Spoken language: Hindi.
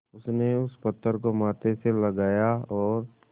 उसने उस पत्थर को माथे से लगाया और